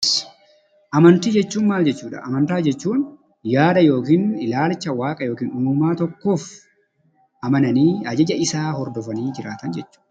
Amantaa jechuun yaada yookiin ilaalcha waaqa yookiin umaa tokkoof amananii yookiin fudhatanii jiraatan jechuudha.